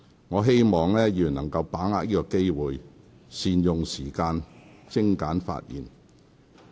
我希望議員能把握機會，善用時間，精簡發言。